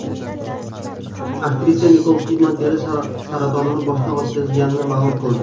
Aktrisa Nikol Kidman teri saratonini boshdan o‘tkazganini ma’lum qildi.